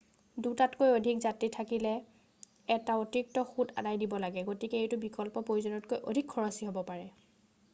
2তাতকৈ অধিক যাত্ৰী থাকিলে এটা অতিৰিক্ত সূত আদায় দিব লাগে গতিকে এইটো বিকল্প প্ৰয়োজনতকৈ অধিক খৰচী হব পাৰে